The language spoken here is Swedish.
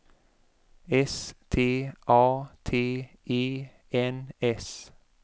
S T A T E N S